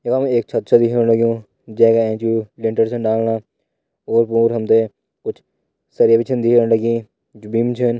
यखम एक छत छ दिखेण लग्युं जैका एंच यू लैंटर छन डलना ओर पोर हमते कुछ सरिया भी छिन दिखेण लगीं जु बिम छिन।